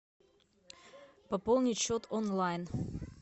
пополнить счет онлайн